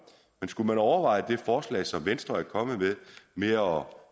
men skulle man overveje det forslag som venstre er kommet med om